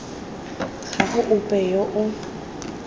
ga go ope yo o